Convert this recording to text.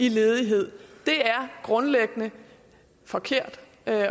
i ledighed er grundlæggende forkert